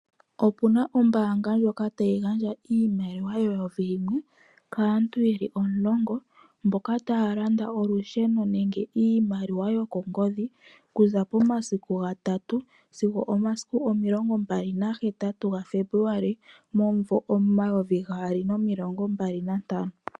Opuna ombaanga ndjoka tayi gandja iimaliwa yeyovi limwe kaantu yeli omulongo. Mboka taya landa olusheno nenge iimaliwa yokongodhi, ku za pomasiku gatatu sigo omasiku omilongo mbali na hetatu ga Febuluali momayovi gaali nomilongo mbali na ntano.